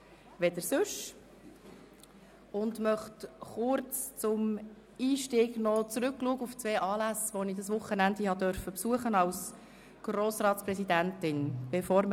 Bevor wir mit den Themen der JGK starten, möchte ich zum Einstieg kurz auf zwei Anlässe zurückblicken, die ich als Grossratspräsidentin besuchen durfte.